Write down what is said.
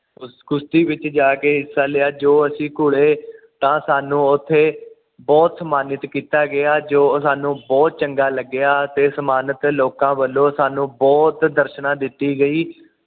ਕੁਸ਼ਤੀ ਵਿੱਚ ਜਾ ਕੇ ਹਿਸਾ ਲਿਆ ਜੋ ਅਸੀਂ ਕੌੜੇ ਤਾਂ ਸਾਨੂੰ ਉਥੇ ਬੁਹਤ ਸਨਮਾਣਿਤ ਕੀਤਾ ਗਿਆ ਜੋ ਸਾਨੂੰ ਬੁਹਤ ਚੰਗਾ ਲੱਗਿਆ ਅਤੇ ਸਾਨੂੰ ਸਨਮਾਣਿਤ ਲੋਕਾਂ ਵਲੋਂ ਸਾਨੂੰ ਬੁਹਤ ਦਰਸ਼ਨਾਂ ਦਿੱਤੀ ਗਈ